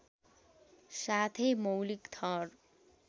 साथै मौलिक थर